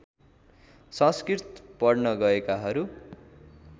संस्कृत पढ्न गएकाहरू